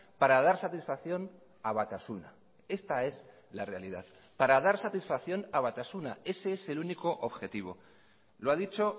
para dar satisfacción a batasuna esta es la realidad para dar satisfacción a batasuna ese es el único objetivo lo ha dicho